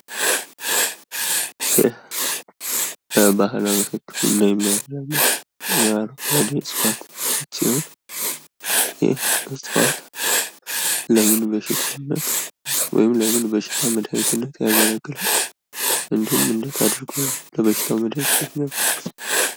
ይህ ምስል ለባህል ህክምና የሚጠቀሙት እፅዋት ሲሆን ለምን መድሀኒትነት ያገለግላል?